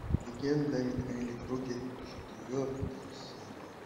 легенда о михаиле круге четвертая серия